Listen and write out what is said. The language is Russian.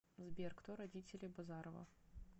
сбер кто родители базарова